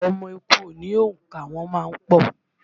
Ọmọ eku kìí ní òǹkà, wọ́n má ń pọ̀